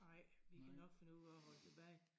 Nej vi kan nok finde ud af at holde tilbage